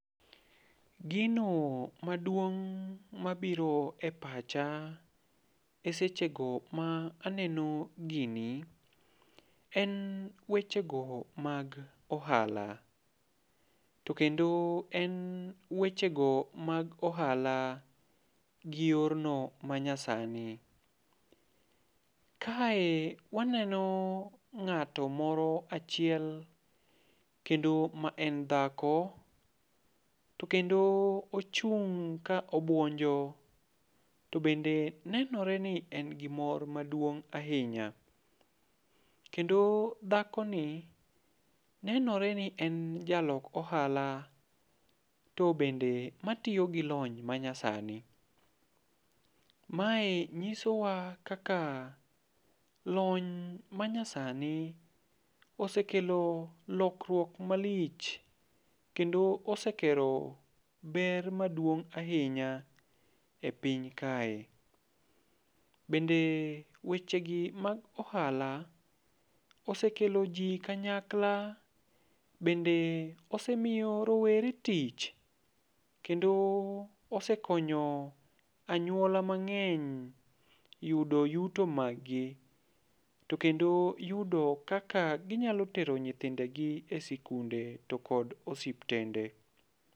Gino maduong' mabiro e pacha e seche go ma aneno gini, en weche go mag ohala. To kendo en wechego mag ohala gi yorno manyasani. Kae waneno mg'ato moro achiel kendo ma en dhako. To kendo ochung' ka obwonjo, to bende nenore ni en gi mor maduong' ahinya. Kendo dhakoni, nenore ni en jalok ohala, to bende matiyo gi lony manyasani. Mae nyisowa kaka lony manyasani osekelo lokruok malich kendo osekelo ber maduong' ahinya e piny kae. Bende weche gi mag ohala osekelo ji kanyakla. Bende osemiyo rowere tich kendo osekonyo anyuola mang'eny yudo yuto maggi. To kendo yudo kaka ginyalo tero nyithindegi e sikunde to kendo osiptende.